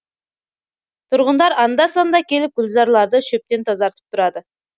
тұрғындар анда санда келіп гүлзарларды шөптен тазартып тұрады